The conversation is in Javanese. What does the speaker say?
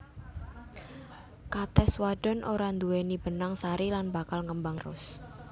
Katès wadon ora nduwèni benang sari lan bakal ngembang terus